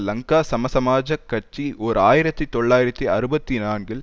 லங்கா சமசமாஜக் கட்சி ஓர் ஆயிரத்தி தொள்ளாயிரத்தி அறுபத்தி நான்கில்